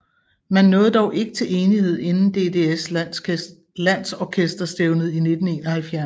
Man nåede dog ikke til enighed inden DDS landsorkesterstævnet i 1971